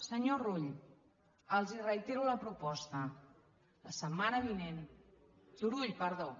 senyor rull els reitero la proposta la setmana vinent turull perdó